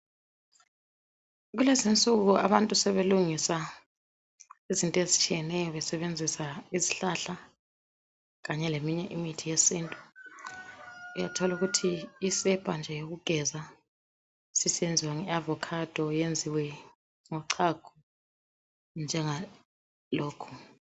Kulezinsuku abantu sebelungise izinto ezitshiyeneyo besebenzisa izihlahla kanye leminye imithi yesintu uyathola ukuthi isepa nje yokugeza sisenziwa nge avocado yenziwe ngochago njengalokhu.